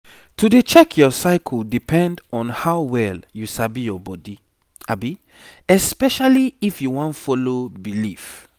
to dey check your cycle depend on how well you sabi your body especially if you wan follow belief